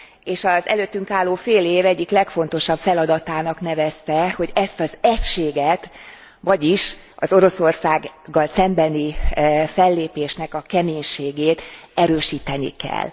És az előttünk álló fél év egyik legfontosabb feladatának nevezte, hogy ezt az egységet, vagyis az Oroszországgal szembeni fellépésnek a keménységét erősíteni kell.